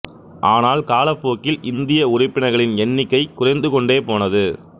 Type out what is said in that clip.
ஆனால் காலப்போக்கில் இந்திய உறுப்பினர்களின் எண்ணிக்கை குறைந்து கொண்டே போனது